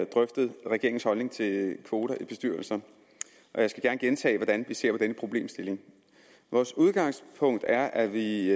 drøftet regeringens holdning til kvoter i bestyrelser og jeg skal gerne gentage hvordan vi ser på denne problemstilling vores udgangspunkt er at vi